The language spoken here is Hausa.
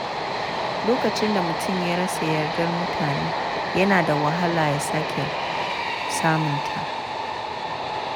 Lokacin da mutum ya rasa yardar mutane, yana da wahala ya sake samunta.